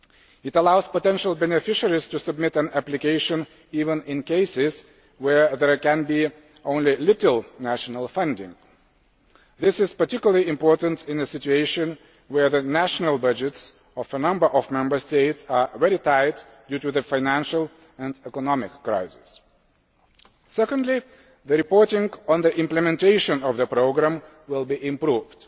It allows potential beneficiaries to submit an application even in cases where there can be only little national funding. This is particularly important in a situation where the national budgets of a number of Member States are very tight due to the financial and economic crisis. Secondly, the reporting on the implementation of the programme will be improved.